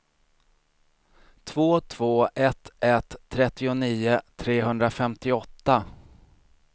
två två ett ett trettionio trehundrafemtioåtta